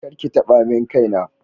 kar ki taba main Kai na.